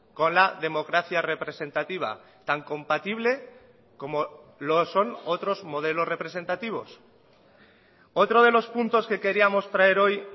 con la democracia representativa tan compatible como lo son otros modelos representativos otro de los puntos que queríamos traer hoy